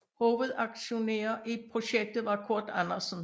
Hovedaktionær i projektet var Kurt Andersen